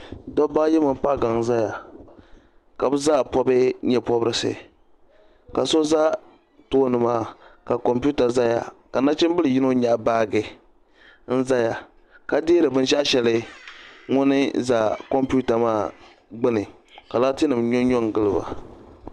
dabba ayi mini paɣa gaŋ n-zaya ka bɛ zaa pɔbi nye' pɔbirisi ka so za tooni maa ka kompiuta zaya ka nachimbila yino nyaɣi baaji n-zaya ka deeri bin' shɛɣu shɛli ŋuni za kompiuta maa gbunni ka laatinima nyɔ nyɔ n-gili.